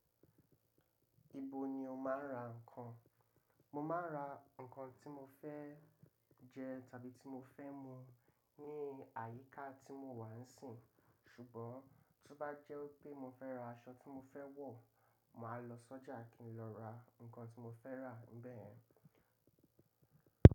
Ibo ni o máa ń ra ǹkan? Mo máa ń ra ǹkan tí mo fẹ́ jẹ tàbí tí mo fẹ́ mu ní àyíká tí mo wà ń sìn. Ṣùgbọ́n, tó bá jẹ́ pé mo fẹ́ ra aṣọ tí mo fẹ́ wọ̀, màá lọ sọ́jà kí n lọ ra ǹkan tí mo fẹ́ rà ni bẹ́ẹ̀ yen.